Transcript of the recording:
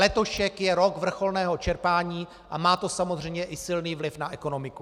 Letošek je rok vrcholného čerpání a má to samozřejmě i silný vliv na ekonomiku.